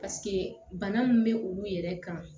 bana min bɛ olu yɛrɛ kan